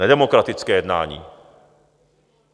Nedemokratické jednání.